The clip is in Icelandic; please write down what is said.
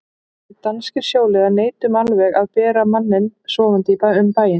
Við danskir sjóliðar neitum alveg að bera manninn sofandi um bæinn.